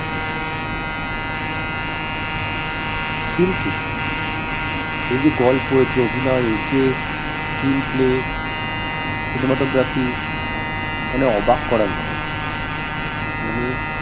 কিন্তু এরযে গল্প এর যে অভিনয় এর যে screenplay cinematography মানে অবাক করার মতন মানে